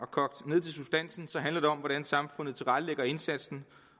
kogt ned til substansen hvordan samfundet tilrettelægger indsatsen